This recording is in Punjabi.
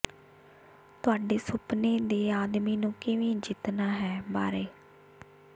ਤੁਹਾਡੇ ਸੁਪਨੇ ਦੇ ਆਦਮੀ ਨੂੰ ਕਿਵੇਂ ਜਿੱਤਣਾ ਹੈ ਬਾਰੇ